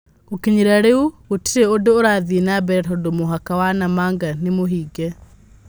Gũkinyĩria rĩu gũtirĩ ũndũũrathiĩ na mbere tondũmũhaka wa Namanga nĩmũhinge.